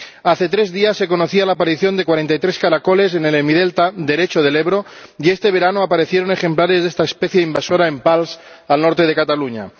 Hace tres días se conocía la aparición de 43 caracoles en el hemidelta derecho del Ebro y este verano aparecieron ejemplares de esta especie invasora en Pals, en el norte de Cataluña.